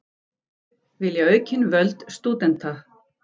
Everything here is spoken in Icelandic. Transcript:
Vilja aukin völd stúdenta